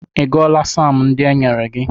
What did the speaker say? Ị gụọla saam ndị e nyere gị?